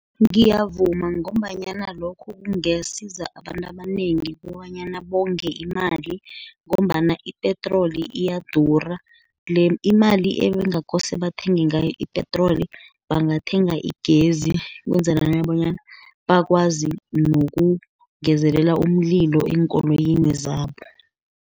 Ngiyavuma ngombanyana lokho kungasiza abantu abanengi kobanyana bonge imali, ngombana ipetroli iyadura. Imali ebekungakose bathenge ngayo ipetroli, bangathenga igezi, ukwenzelela bonyana bakwazi nokungezelela umlilo eenkoloyini zabo.